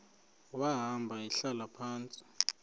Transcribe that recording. wahamba ehlala phantsi